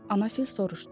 Ana fil soruşdu.